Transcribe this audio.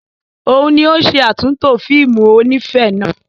Òun ni ó ṣe àtúntò fíìmù onífẹ̀ẹ́ náà.